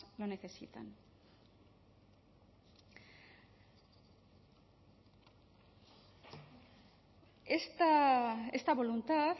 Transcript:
lo necesitan esta voluntad